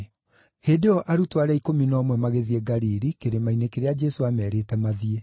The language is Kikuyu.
Hĩndĩ ĩyo arutwo arĩa ikũmi na ũmwe magĩthiĩ Galili, kĩrĩma-inĩ kĩrĩa Jesũ aamerĩte mathiĩ.